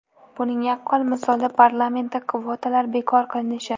Buning yaqqol misoli parlamentda kvotalar bekor qilinishi.